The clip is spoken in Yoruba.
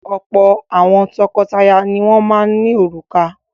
Ọ̀pọ̀ àwọn tọkọtaya ni wọ́n ní òrùka.